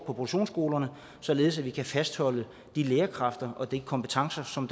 produktionsskolerne således at vi kan fastholde de lærerkræfter og de kompetencer som